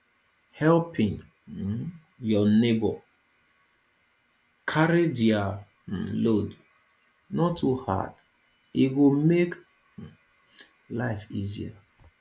helping um your neighbor carry their um load no too hard e go make um life easier